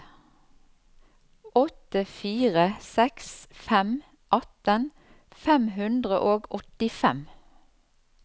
åtte fire seks fem atten fem hundre og åttifem